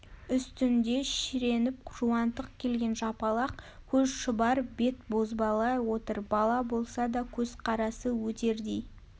үстінде шіреніп жуантық келген жапалақ көз шұбар бет бозбала отыр бала болса да көзқарасы өтердей